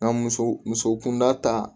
N ka muso muso kunda ta